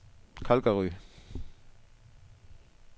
Calgary